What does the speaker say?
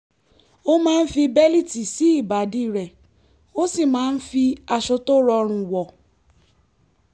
ó máa ń fi bẹ́líìtì sí ìbàdí rẹ̀ ó sì máa ń fi aṣọ tó rọrùn wọ̀